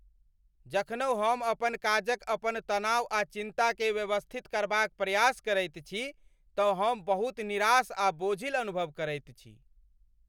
जखनहु हम अपन काजक अपन तनाव आ चिन्ताकेँ व्यवस्थित करबाक प्रयास करैत छी तँ हम बहुत निराश आ बोझिल अनुभव करैत छी ।